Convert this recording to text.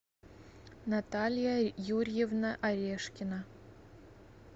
наталья юрьевна орешкина